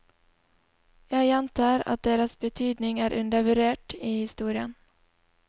Jeg gjentar at deres betydning er undervurdert i historien.